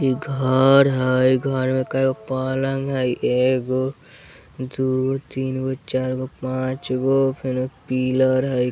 इ घर हय घर में कएगो पलंग हय एगो दुगो तीन गो चार गो पाँच गो फेनो पिलर हय।